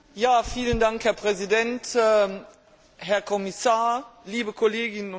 Herr Präsident, Herr Kommissar, liebe Kolleginnen und Kollegen!